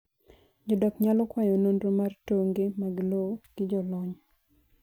Jodak nyalo kwayo nonro mar tonge mag lowo gi jolony